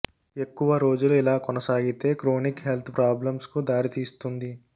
ఎక్కువ రోజులు ఇలా కొనసాగితే క్రోనిక్ హెల్త్ ప్రాబ్లెక్స్ కు దారితీస్తుంది